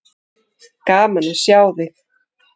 Gaman að sjá þig.